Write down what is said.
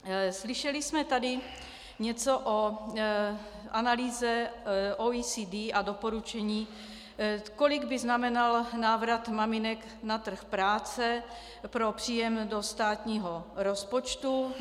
Slyšeli jsme tady něco o analýze OECD a doporučení, kolik by znamenal návrat maminek na trh práce pro příjem do státního rozpočtu.